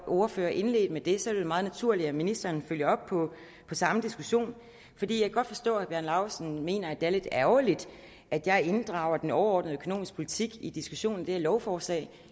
ordfører indledte med det så er det jo meget naturligt at ministeren følger op på samme diskussion jeg kan godt forstå at laustsen mener det er lidt ærgerligt at jeg inddrager den overordnede økonomiske politik i diskussionen om det her lovforslag